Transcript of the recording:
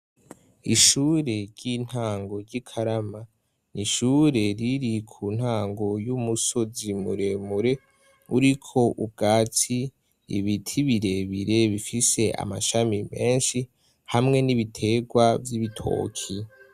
Ishure ry'intango ry'i karama ni ishure riri ku ntango y'umusozi muremure uriko ubwatsi ibiti birebire bifise amashami menshi hamwe n'ibiterwa vy'ibitoki.